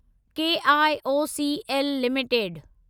KIOCL limited